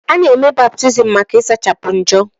Ana-eme baptiizim maka ịsachapụ njọ.